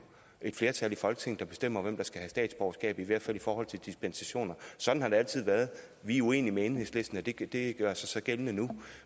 et flertal i folketinget der bestemmer hvem der skal have statsborgerskab i hvert i forhold til dispensationer sådan har det altid været vi er uenige med enhedslisten og det det gør sig så gældende nu